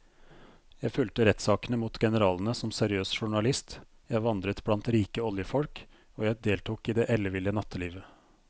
Jeg fulgte rettssakene mot generalene som seriøs journalist, jeg vandret blant rike oljefolk og jeg deltok i det elleville nattelivet.